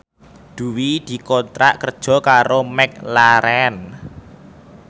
Dwi dikontrak kerja karo McLarren